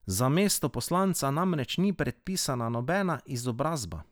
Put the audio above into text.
Za mesto poslanca namreč ni predpisana nobena izobrazba.